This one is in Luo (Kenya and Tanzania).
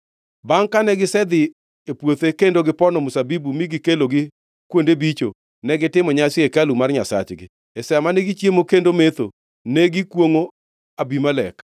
Bangʼ kane gisedhi e puothe kendo gipono mzabibu mi gikelogi kuonde bicho, negitimo nyasi e hekalu mar nyasachgi. E sa mane gichiemo kendo metho, ne gikwongʼo Abimelek.